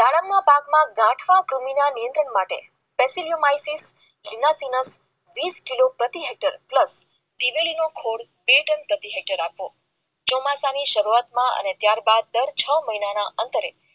દાડમના પાકમાં ગાંઠિયા માટે વટેલી માહિતી તેમજ વીસ કિલો પ્રતિ હેક્ટર દિવેલી નો કોડ બે પ્રતિ હેક્ટર આપો ચોમાસાની શરૂઆતમાં ત્યારબાદ ડર મહિનાના અંતરે